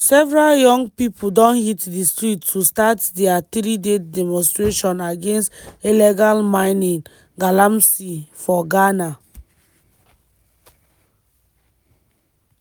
several young pipo don hit di streets to start dia three-day demonstration against illegal mining (galamsey) for ghana.